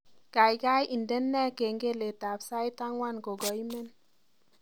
Gaigai indene kengeletab sait angwan kogaimen